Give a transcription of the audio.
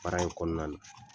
Baara in kɔnɔna na